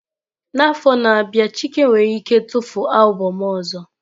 N'afọ na-abịa Chike nwere ike tufuo albọm ọzọ.